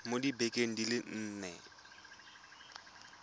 mo dibekeng di le nne